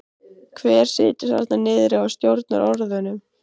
Hver situr þarna niðri og stjórnar orðunum?